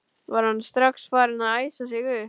Var hann strax farinn að æsa sig upp?